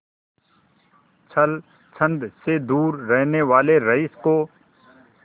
छल छंद से दूर रहने वाले रईस को